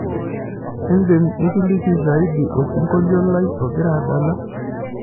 idim nikiliki ziadi osingoliolai ogira adala